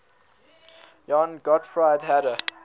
johann gottfried herder